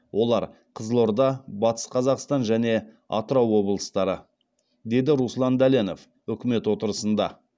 олар қызылорда батыс қазақстан және атырау облыстары деді руслан дәленов үкімет отырысында